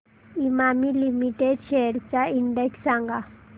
Emami limited shares चा index सांगा